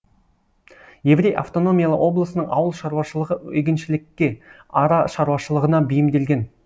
еврей автономиялы облысының ауыл шаруашылығы егіншілікке ара шаруашылығына бейімделген